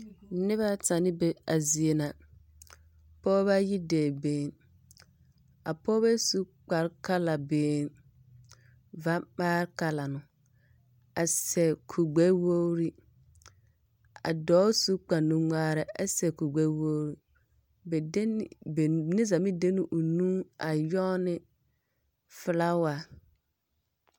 Nobԑ ata na be a zie ŋa, pͻͻbͻ yi dͻͻ beeyeŋ. A pͻͻbͻ su ne kpare kala yeŋ. Va ŋmãã kala no, a seԑ kurigbԑ-wogiri. A dͻͻ suŋ kpare nuŋmaarԑ ԑ seԑ kure gbԑ-wogiri. Ba de ne neԑzaa maŋ de la o nu a nyͻge ne filaawa.